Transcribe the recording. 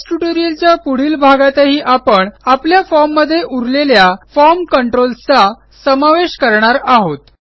base ट्युटोरियलच्या पुढील भागातही आपण आपल्या formमध्ये उरलेल्या फॉर्म कंट्रोल्स चा समावेश करणार आहोत